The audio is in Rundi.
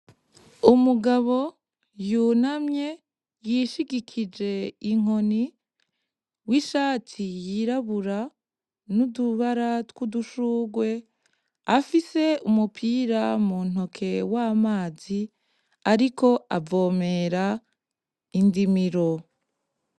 Umugabo yunamye, yishigikije inkoni w'ishati yirabura y'utubara tw'udushugwe, afise umupira mu ntoke w'amazi ariko avomera indimiro.